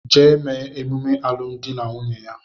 Gaa mee emume alụmdi na nwunye ya!